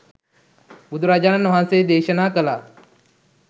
බුදුරජාණන් වහන්සේ දේශනා කළා.